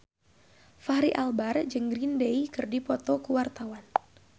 Fachri Albar jeung Green Day keur dipoto ku wartawan